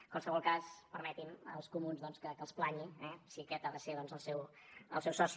en qualsevol cas permetin me els comuns doncs que els planyi eh si aquest ha de ser el seu soci